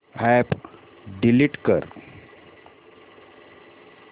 app delete कर